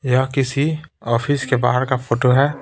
यह किसी ऑफिस के बाहर का फोटो है।